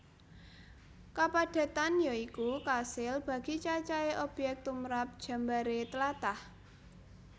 Kapadhetan ya iku kasil bagi cacahé obyek tumrap jembaré tlatah